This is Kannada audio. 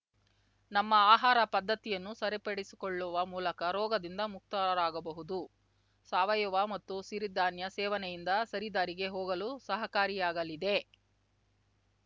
ನಮ್ಮ ಆಹಾರ ಪದ್ಧತಿಯನ್ನು ಸರಿಪಡಿಸಿಕೊಳ್ಳುವ ಮೂಲಕ ರೋಗದಿಂದ ಮುಕ್ತರಾಗಬಹುದು ಸಾವಯವ ಮತ್ತು ಸಿರಿಧಾನ್ಯ ಸೇವನೆಯಿಂದ ಸರಿದಾರಿಗೆ ಹೋಗಲು ಸಹಕಾರಿಯಾಗಲಿದೆ